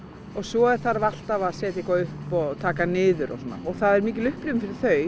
og svo þarf alltaf að setja eitthvað upp og taka niður og svona og það er mikil upplifun fyrir þau